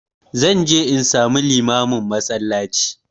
Zan je in samu limamin a masallaci